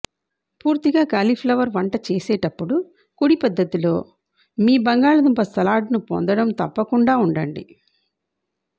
పూర్తిగా కాలీఫ్లవర్ వంటచేసేటప్పుడు కుడి పద్దతిలో మీ బంగాళాదుంప సలాడ్ను పొందడం తప్పకుండా ఉండండి